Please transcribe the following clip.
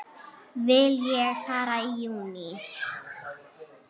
Vil ég fara í júní?